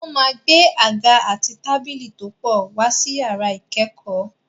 Wọ́n máa gbé àga àti tábìlì tó pọ̀ wá sí yàrá ìkẹ́kọ̀ọ́.